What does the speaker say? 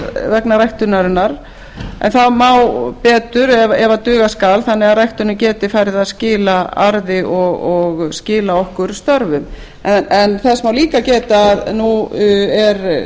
vegna ræktunarinnar en betur má ef duga skal þannig að ræktunin geti farið að skila arði og skila okkur störfum þess má líka geta að nú er